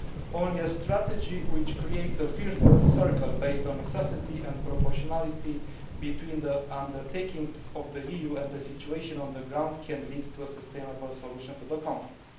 Only a strategy which creates a virtuous circle, based on necessity and proportionality between the undertakings of the EU and the situation on the ground, can lead to a sustainable solution to the conflict.